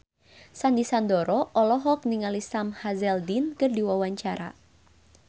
Sandy Sandoro olohok ningali Sam Hazeldine keur diwawancara